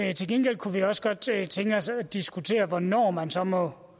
det til gengæld kunne vi også godt tænke tænke os at diskutere hvornår man så må